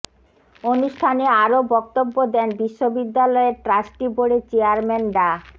অনুষ্ঠানে আরো বক্তব্য দেন বিশ্ববিদ্যালয়ের ট্রাস্টি বোর্ডের চেয়ারম্যান ডা